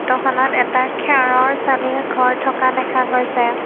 ফটোখনত এটা খেৰৰ চালিৰ ঘৰ থকা দেখা গৈছে।